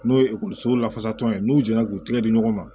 N'o ye ekɔlisow lafasatɔ ye n'u jɛnna k'u tigɛ di ɲɔgɔn ma